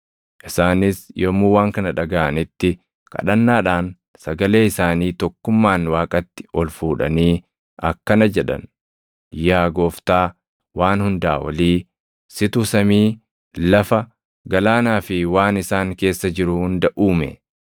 Isaanis yommuu waan kana dhagaʼanitti kadhannaadhaan sagalee isaanii tokkummaan Waaqatti ol fuudhanii akkana jedhan; “Yaa Gooftaa Waan Hundaa Olii, situ samii, lafa, galaanaa fi waan isaan keessa jiru hunda uume.